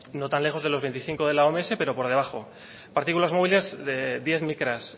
no tan lejos de los veinticinco de la oms pero por debajo partículas móviles de diez micras